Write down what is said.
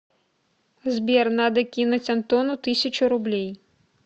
сбер надо кинуть антону тысячу рублей